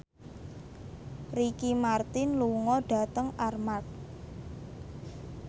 Ricky Martin lunga dhateng Armargh